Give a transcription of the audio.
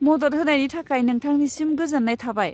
मदद होनायनि थाखाय नोंथांनिसिम गोजोन्नाय थाबाय।